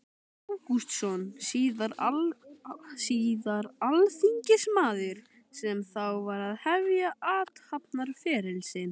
Ágústsson, síðar alþingismaður, sem þá var að hefja athafnaferil sinn.